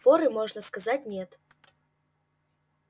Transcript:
форы можно сказать нет